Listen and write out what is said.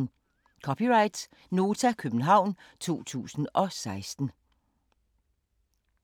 (c) Nota, København 2016